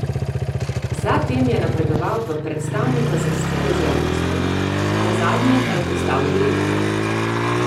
Za tem je napredoval v predstavnika za stike z javnostmi, nazadnje pa je postal direktor.